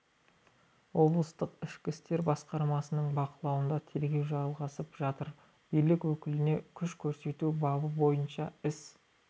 облыстық ішкі істер басқармасының бақылауында тергеу жалғасып жатыр билік өкіліне күш көрсету бабы бойынша іс